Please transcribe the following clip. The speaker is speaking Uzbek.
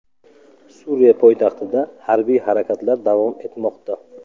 Suriya poytaxtida harbiy harakatlar davom etmoqda.